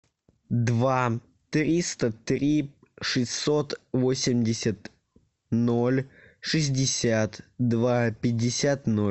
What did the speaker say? два триста три шестьсот восемьдесят ноль шестьдесят два пятьдесят ноль